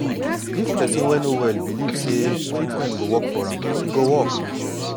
if person wey no well believe say treatment go work for am e go work